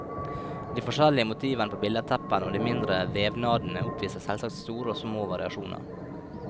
De forskjellige motivene på billedteppene og de mindre vevnadene oppviser selvsagt store og små variasjoner.